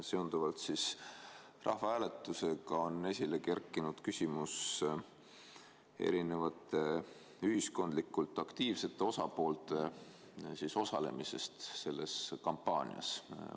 Seonduvalt rahvahääletusega on esile kerkinud küsimus erinevate ühiskondlikult aktiivsete osapoolte osalemisest selles kampaanias.